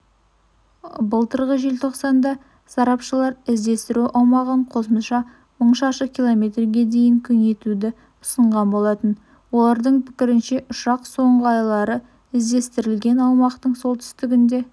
былтырғы желтоқсанда сарапшылар іздестіру аумағын қосымша мың шаршы км-ге дейін кеңейтуді ұсынған болатын олардың пікірінше ұшақ соңғы айлары іздестірілген аумақтың солтүстігінде